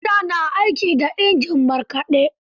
Mata na aiki da injin markaɗe.